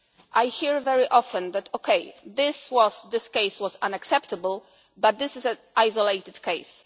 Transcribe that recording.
fundamentally. I hear very often OK, this case was unacceptable but this is an